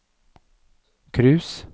cruise